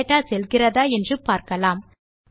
data செல்கிறதா என்று பார்க்கலாம்